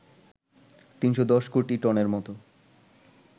৩১০ কোটি টনের মতো